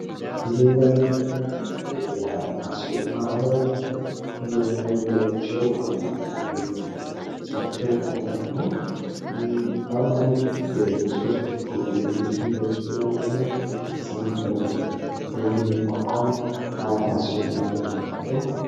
እዚህም ላይ የምንመለከተው የሀያት አክስዮን ማህበር የመለያቸው አርማ መገለጫቸው አርማ ነው። አርማውም ሶስት ጎጆ ቤቶችን በውስጡ የያዘ ነው። ከዛም በእንግሊዘኛ ቋንቋም ሀያት አክሲዮን ማህበር የሚል አለው።